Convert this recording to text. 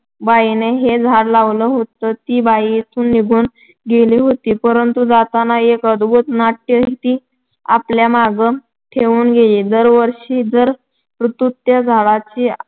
बाईनं हे झाड लावलं होतं ती बाई इथून निघून गेली होती, परंतु जाताना एक अद्भुत नाट्य ती आपल्यामागं ठेवून गेली. दरवर्षी दर ऋतूत त्या झाडाच्या